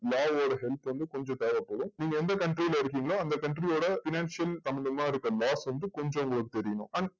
யோட help பு வந்து கொஞ்சம் தேவப் படும் நீங்க எந்த country ல இருகிங்கலோ அந்த countryfinancial சமந்தமா இருக்க law வந்து கொஞ்சம் உங்களுக்கு தெரியனும்